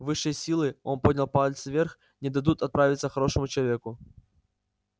высшие силы он поднял палец вверх не дадут отравиться хорошему человеку